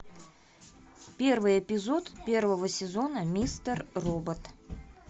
первый эпизод первого сезона мистер робот